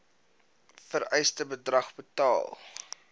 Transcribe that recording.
vereiste bedrag betaal